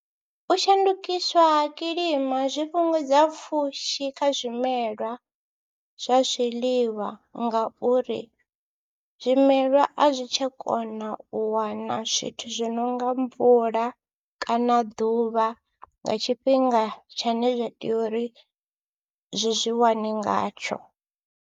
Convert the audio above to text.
U shandukiswa ha kilima zwi fhungudza pfhushi kha zwimelwa zwa zwiḽiwa ngauri zwimelwa a zwi tsha kona u wana zwithu zwi no nga mvula kana ḓuvha nga tshifhinga tshine tsha tea uri zwi zwi wane ngatsho.